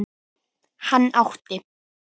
Hann átti